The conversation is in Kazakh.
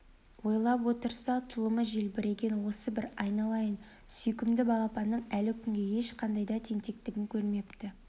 ойлап отырса тұлымы желбіреген осы бір айналайын сүйкімді балапанның әлі күнге ешқандай да тентектігін көрмепті